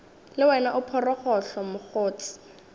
le wena o phorogohlo mokgotse